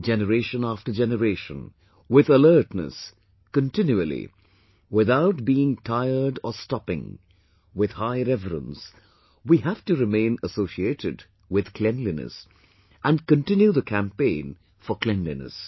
Generation after generation, with alertness, continually, without being tired or stopping, with high reverence we have to remain associated with cleanliness and continue the campaign for cleanliness